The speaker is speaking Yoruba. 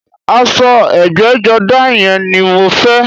Aṣọ ẹgbẹ́jọdá yẹn ni mo fẹ́